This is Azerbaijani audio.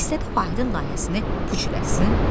İstədi Vahidin layihəsini puç eləsin.